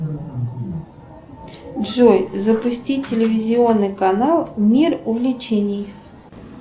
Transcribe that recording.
джой запусти телевизионный канал мир увлечений